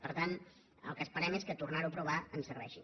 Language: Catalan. per tant el que esperem és que tornar ho a aprovar ens serveixi